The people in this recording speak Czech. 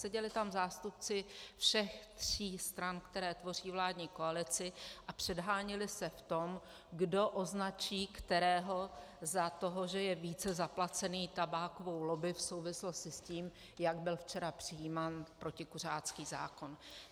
Seděli tam zástupci všech tří stran, které tvoří vládní koalici, a předháněli se v tom, kdo označí kterého za toho, že je více zaplacený tabákovou lobby v souvislosti s tím, jak byl včera přijímán protikuřácký zákon.